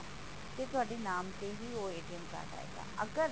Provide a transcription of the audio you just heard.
ਤੇ ਤੁਹਾਡੇ ਨਾਮ ਤੇ ਹੀ ਉਹ card ਆਏਗਾ ਅਗਰ